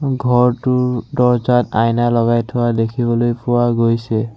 ঘৰটোৰ দৰ্জাত আইনা লগাই থোৱা দেখিবলৈ পোৱা গৈছে।